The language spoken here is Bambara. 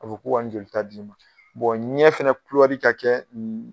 A fɔ k'u ka nin jolita d'i ma. ɲɛ fɛnɛ ka kɛ